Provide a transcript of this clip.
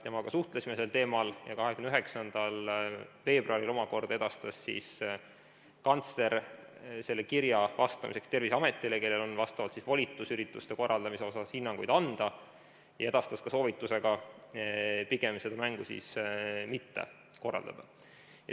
Temaga me suhtlesime sel teemal ja 29. veebruaril omakorda edastas kantsler selle kirja vastamiseks Terviseametile, kellel on volitus ürituste korraldamise kohta hinnanguid anda, ja edastas ka soovituse pigem seda mängu mitte korraldada.